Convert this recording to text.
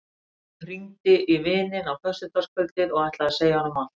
Hringdi í vininn á föstudagskvöldið og ætlaði að segja honum allt.